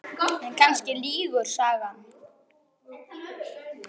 En kannski lýgur sagan.